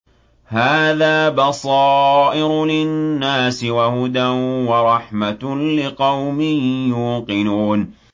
هَٰذَا بَصَائِرُ لِلنَّاسِ وَهُدًى وَرَحْمَةٌ لِّقَوْمٍ يُوقِنُونَ